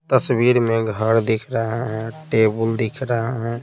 तस्वीर में घर दिख रहा है टेबल दिख रहा है।